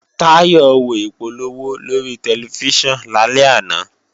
Táyọ̀ wo ìpolówó lórí tẹlifíṣàn lálẹ́ àná